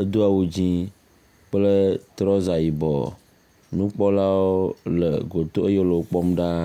edo awu dzɛ̃ kple trɔza yibɔ. Nukpɔlawo le goto eye wole wo kpɔm ɖaa.